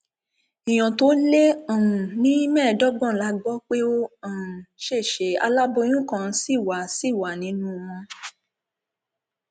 nígbà tí olùjẹjọ sọ pé òun kò jẹbi ní agbẹjọrò rẹ okọbè násitè bẹ iléẹjọ láti fún un ní bẹẹlì